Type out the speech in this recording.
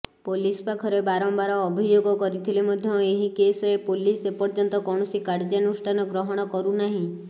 police ପାଖରେ ବାରମ୍ଭାର ଅଭିଯୋଗ କରିଥିଲେ ମଧ୍ୟ ଏହି କେସରେ ପୋଲିସ ଏର୍ପଯ୍ୟନ୍ତ କୌଣସି କାର୍ଯ୍ୟାନୁଷ୍ଠାନ ଗ୍ରହଣ କରୁନାହିଁ